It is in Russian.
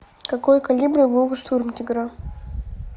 какой калибр был у штурмтигра